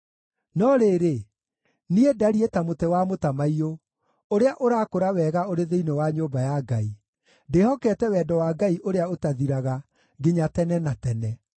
No rĩrĩ, niĩ ndariĩ ta mũtĩ wa mũtamaiyũ, ũrĩa ũrakũra wega ũrĩ thĩinĩ wa nyũmba ya Ngai; ndĩhokete wendo wa Ngai ũrĩa ũtathiraga nginya tene na tene.